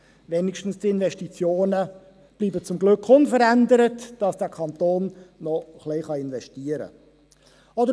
Wenigstens die Investitionen bleiben zum Glück unverändert, sodass dieser Kanton noch ein wenig investieren kann.